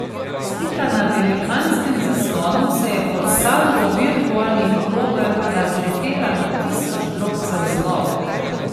Slika na velikanskem zaslonu se je pod salvo virtualnih krogel razletela na tisoč drobcev zlobe.